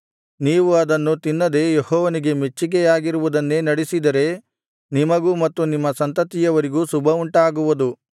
ನೀವು ಅದನ್ನು ತಿನ್ನದೆ ಯೆಹೋವನಿಗೆ ಮೆಚ್ಚಿಗೆಯಾಗಿರುವುದನ್ನು ನಡಿಸಿದರೆ ನಿಮಗೂ ಮತ್ತು ನಿಮ್ಮ ಸಂತತಿಯವರಿಗೂ ಶುಭವುಂಟಾಗುವುದು